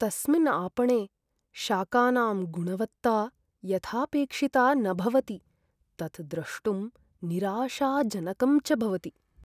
तस्मिन् आपणे शाकानां गुणवत्ता यथापेक्षिता न भवति, तत् द्रष्टुं निराशाजनकं च भवति।